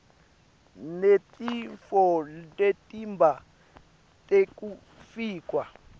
netitfo temtimba tekufakwa